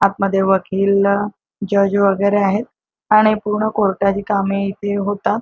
आतमध्ये वकील जज वगैरे आहेत आणि पूर्ण कोर्टा ची कामे इथे होतात.